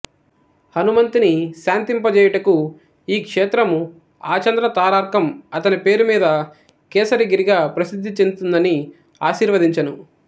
హనుమంతుని శాంతింపజేయుటకు ఈ క్షేత్రము ఆచంద్రతారార్కం అతని పేరుమీద కేసరి గిరిగా ప్రసిద్ధిచెందుతుందని ఆశీర్వదించెను